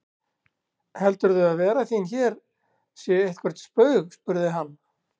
Heldurðu að vera þín hér sé eitthvert spaug spurði hann.